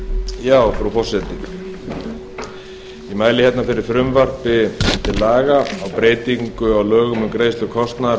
mæli hérna fyrir frumvarpi til laga um breytingu á lögum um greiðslu kostnaðar